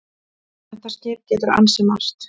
Þetta skip getur ansi margt.